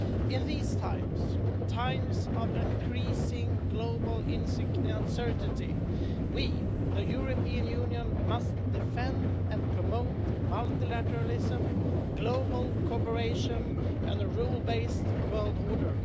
In these times, times of increasing global uncertainty, we, the European Union, must defend and promote multilateralism, global cooperation and a rule based world order.